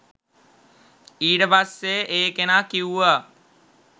ඊට පස්සේ ඒ කෙනා කිව්වා